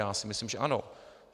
Já si myslím, že ano.